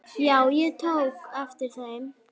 Já, ég tók eftir þeim.